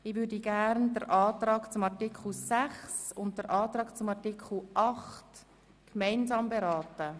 Ich würde gerne die beiden Anträge der BDP zu Artikel 6 und Artikel 8 gemeinsam beraten.